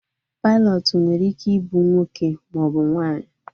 Pailọtụ nwere ike ị bụ nwoke ma ọ bụ nwaanyị